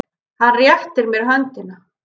Hann réttir mér höndina.